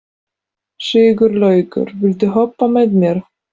Sigurlaugur, viltu hoppa með mér?